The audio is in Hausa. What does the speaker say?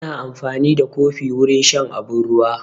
Ana amfani da kofi wurin shan abun ruwa